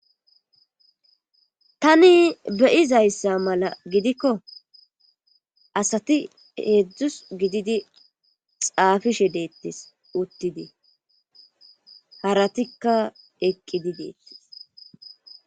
tani beyizayssa mala gidikko asati heedzdzus gididi xaafishe deettis uttidi haratikka eqqidi deettis